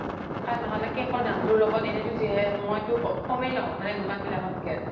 তাত ন্হ্'লে cake ৰ দাম্তোৰ লগত এনেতো যিহে মইতো কমে লও দুকান বিলাক ত কে